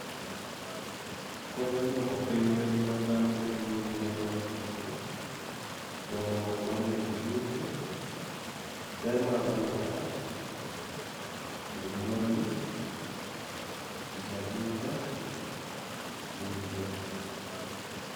Konyo dwoko piny lweny ma dhano bedo go gi le mag bungu, dongruok mar weche yuto, ber mag alwora, yudo mwandu, tich andika, limbe.